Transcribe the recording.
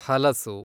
ಹಲಸು